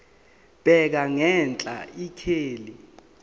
bheka ngenhla ikheli